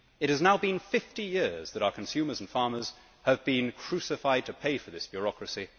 It has now been 50 years that our consumers and farmers have been crucified to pay for this bureaucracy.